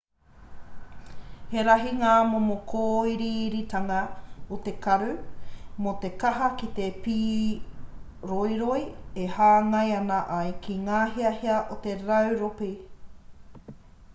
he rahi ngā momo kōiriiritanga o te karu mō te taha ki te pīroiroi e hāngai ana ai ki ngā hiahia o te rauropi